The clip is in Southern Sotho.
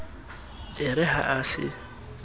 e re ha a se